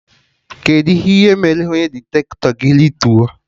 Kedụ ihe mere onye diktato gị rituo?